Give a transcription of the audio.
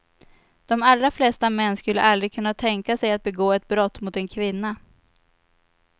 De allra flesta män skulle aldrig kunna tänka sig att begå ett brott mot en kvinna.